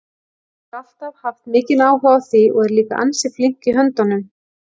Hún hefur alltaf haft mikinn áhuga á því og er líka ansi flink í höndunum.